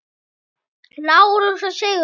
Lárus og Sigrún.